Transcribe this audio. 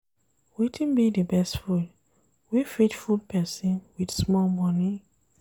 Wetin be the best food wey fit full person wit small money?